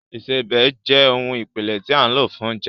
Ìsebẹ̀ jẹ́ ohun ìpìlẹ̀ tí a lò fún oúnjẹ